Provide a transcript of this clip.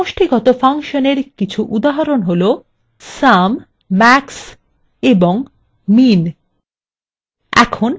সমষ্টিগত ফাংশনএর কিছু উদাহরণ sum max এবং min